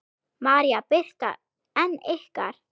María Birta en ykkar?